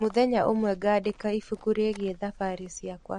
Mũthenya ũmwe ngandĩka ibuku rĩgiĩ thabarĩ ciakwa.